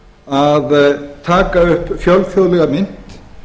að taka upp fjölþjóðlega mynt